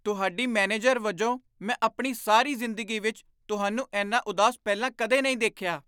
ਤੁਹਾਡੀ ਮੈਨੇਜਰ ਵਜੋਂ ਮੈਂ ਆਪਣੀ ਸਾਰੀ ਜ਼ਿੰਦਗੀ ਵਿੱਚ ਤੁਹਾਨੂੰ ਇੰਨਾ ਉਦਾਸ ਪਹਿਲਾਂ ਕਦੇ ਨਹੀਂ ਦੇਖਿਆ।